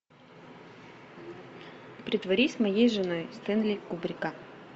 притворись моей женой стэнли кубрика